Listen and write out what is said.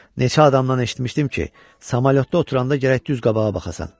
Neçə adamdan eşitmişdim ki, samolyotda oturanda gərək düz qabağa baxasan.